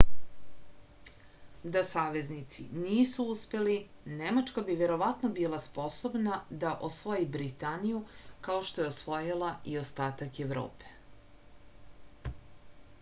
da saveznici nisu uspeli nemačka bi verovatno bila sposobna da osvoji britaniju kao što je osvojila i ostatak evrope